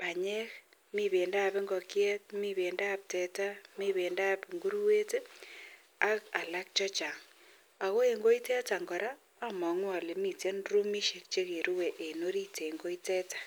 banyek ako mi bendo ab ingokiet, bendob teta akomi bendab inguruet AK alak chechang akoen goitetan amangu Kole miten chekerue en orit en koi nitetan